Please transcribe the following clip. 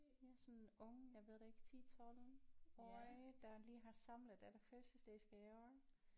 Ja sådan en ung jeg ved det ikke 10 12 årig der lige har samlet alle fødselsdagsgaver